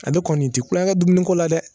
Ale kɔni ti kulonkɛ dumuni ko la dɛ